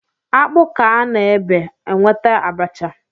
Akpu ka a na-ebe, enweta abacha